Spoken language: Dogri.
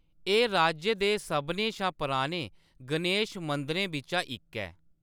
एह्‌‌ राज्य दे सभनें शा पुराने गणेश मंदरें बिच्चा इक ऐ।